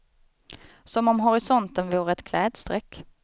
Som om horisonten vore ett klädstreck.